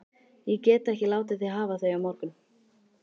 Ég get ekki látið þig hafa þau á morgun